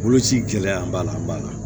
Boloci gɛlɛya b'a la an b'a la